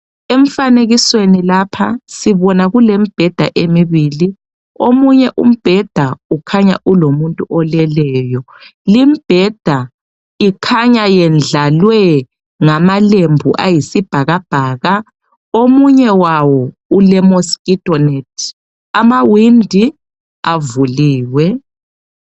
Emfanekisweni lapha sibona kulembheda emibili omunye umbheda ukhanya ulomuntu oleleyo limbheda ikhanya yendlalwe ngamalembu ayisibhakabhaka omunye wawo ulemosquito net amawindi avuliwe.